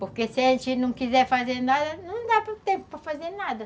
Porque se a gente não quiser fazer nada, não dá tempo para fazer nada.